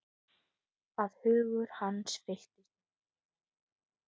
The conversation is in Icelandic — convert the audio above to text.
Að hugur hans fylltist myndum af henni.